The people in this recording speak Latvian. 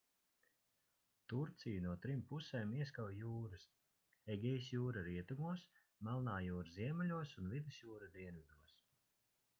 turciju no trim pusēm ieskauj jūras egejas jūra rietumos melnā jūra ziemeļos un vidusjūra dienvidos